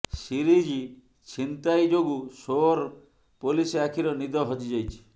series ଛିନତାଇ ଯୋଗୁଁ ସୋର ପୋଲିସ ଆଖିର ନିଦ ହଜିଯାଇଛି